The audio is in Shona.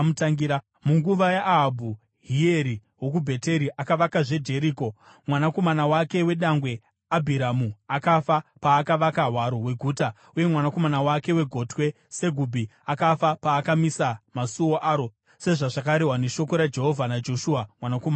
Munguva yaAhabhu, Hieri wokuBheteri akavakazve Jeriko. Mwanakomana wake wedangwe, Abhiramu, akafa paakavaka hwaro hweguta, uye mwanakomana wake wegotwe Segubhi akafa paakamisa masuo aro, sezvazvakarehwa neshoko raJehovha naJoshua mwanakomana waNuni.